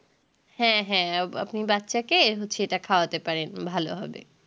হ্যাঁ হ্যাঁ আপনি বাচ্চা কে হচ্ছে এটা খাওয়াতে পারেন ভালো হবে